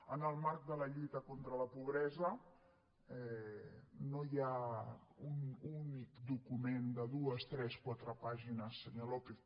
en el marc de la lluita contra la pobresa no hi ha un únic document de dues tres quatre pàgines senyor lópez